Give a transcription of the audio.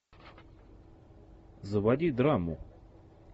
заводи драму